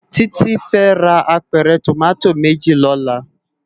Titi fè rá ápèrè tómàtó méjí lòlá